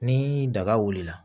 Ni daga wulila la